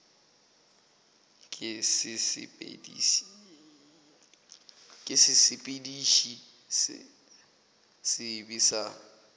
ke sesepediši se sebe sa